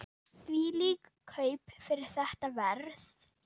Þvílík kaup fyrir þetta verð!